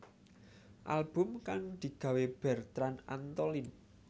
Album kang digawé Bertrand Antolin